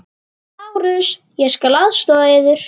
LÁRUS: Ég skal aðstoða yður.